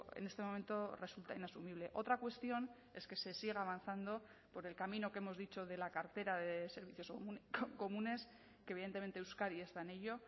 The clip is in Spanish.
en este momento resulta inasumible otra cuestión es que se siga avanzando por el camino que hemos dicho de la cartera de servicios comunes que evidentemente euskadi está en ello